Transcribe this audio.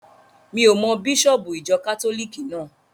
Mi ò mọ bísọ̀bù ìjọ kátólìkì náà.